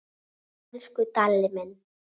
Elsku Dalli minn.